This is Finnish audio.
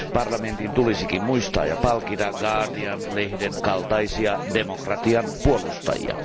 Parlamentin tulisikin muistaa ja palkita Guardian lehden kaltaisia demokratian puolustajia.